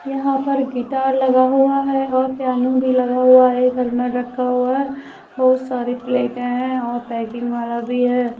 यहां पर गिटार लगा हुआ है और पियानो भी लगा हुआ है। घर में रखा हुआ है। बहोत सारी प्लेट और पेकिंग वाला भी है।